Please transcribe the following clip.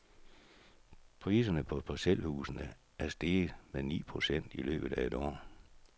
Priserne på parcelhuse er steget med ti procent i løbet af et år.